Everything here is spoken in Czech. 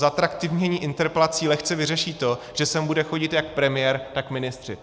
Zatraktivnění interpelací lehce vyřeší to, že sem bude chodit jak premiér, tak ministři.